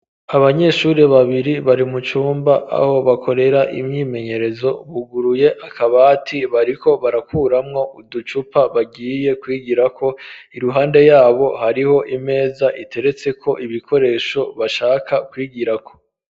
Abanyeshuri babiri bari mu cumba aho bakorera imyimenyerezo, buguruye akabati bariko barakuramwo uducupa bagiye kwigirako, iruhande yabo hariho imeza iteretseko ibikoresho bashaka kwigirako.